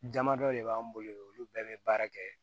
Damadɔ de b'an bolo olu bɛɛ bɛ baara kɛ